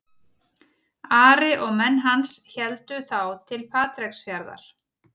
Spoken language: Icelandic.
Ari og menn hans héldu þá til Patreksfjarðar.